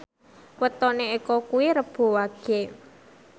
wetone Eko kuwi Rebo Wage